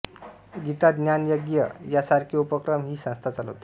गीता ज्ञानयज्ञ या सारखे उपक्रम ही संस्था चालवते